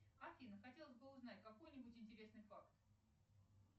афина хотелось бы узнать какой нибудь интересный факт